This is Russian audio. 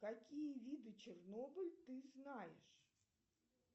какие виды чернобыль ты знаешь